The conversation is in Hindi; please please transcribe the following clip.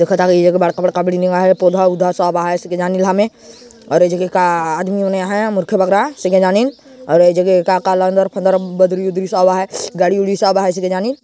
बड़का बड़का पौधा वौधा सब हे ऐसिल जाने हमें अउर ये जगह का आदमी मन हे मूर्खे बखरा सिंगे जानिल अउर ये जगह का लंदर फंदर बदरी वदरी सब है गाड़ी वाड़ी सब हैऐसे के जानिन--